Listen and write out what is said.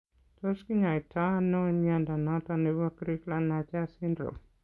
Tos kinyaii to ano mnyondo noton nebo Crigler Najjar syndrome